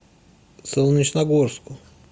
солнечногорску